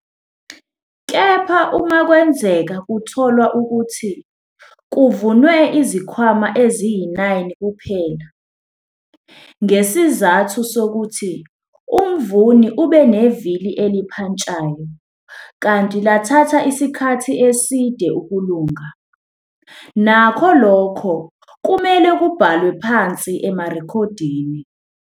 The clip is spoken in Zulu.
Kepha uma kwenzeka kutholwa ukuthi kuvunwe izikhwama eziyi-9 kuphela, ngesizathu sokuthi umvuni ube nevili elipantshayo kanti lathatha isikhathi eside ukulunga, nakho lokho kumele kubhalwe phansi emarekhodini.